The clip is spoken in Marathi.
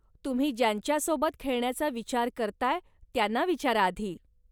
तुम्ही ज्यांच्यासोबत खेळण्याचा विचार करताय त्यांना विचारा आधी.